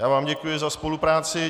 Já vám děkuji za spolupráci.